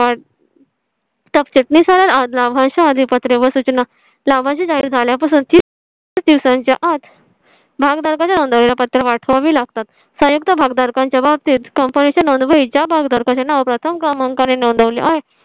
सबचिटणीस लाभांश अधी पत्रे व सूचना लाभांश चे जाहीर झाल्या पासून तीस दिवसांच्या आत भागधारकांद्वारे ला पत्र पाठवावे लागतात. संयुक्त भागधारकांच्या बाबतीत company च्या नोंदवह्या भागधारकांचे नाव प्रथम क्रमांका ने नोंदवली आहे.